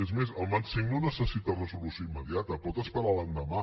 és més el mat v no necessita resolució immediata pot esperar l’endemà